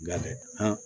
Nka